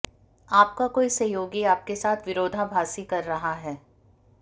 आपका कोई सहयोगी आपके साथ विरोधाभासी कर रहा है